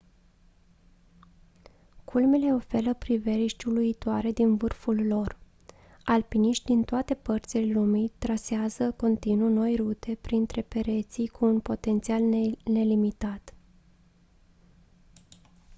culmile oferă priveliști uluitoare din vârful lor alpiniști din toate părțile lumii trasează continuu noi rute printre pereții cu un potențial nelimitat